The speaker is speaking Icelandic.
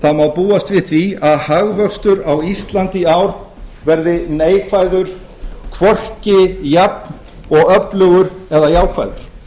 búast við því að hagvöxtur á íslandi í ár verði neikvæður hvorki jafn og öflugur eða jákvæður